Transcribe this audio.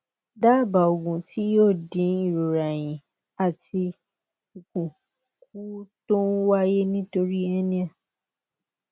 dábàá ògùn tí yóò dín ìrora ẹyìn àti ikùn kù tó ń wáyé nítorí hernia